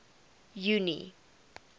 junie